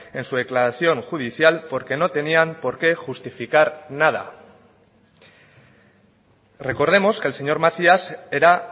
en su declaración judicial porque no tenían porqué justificar nada recordemos que el señor macías era